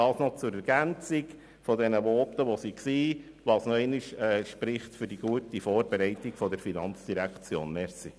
Beides spricht für die gute Vorbereitung seitens der FIN.